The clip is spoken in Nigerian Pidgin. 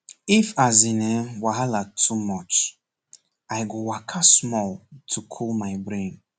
if as in[um]wahala too much i go waka small to cool my brain